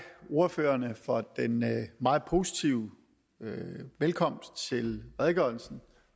ordførerne for den meget positive velkomst til redegørelsen